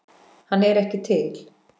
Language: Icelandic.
Hann er ekki til!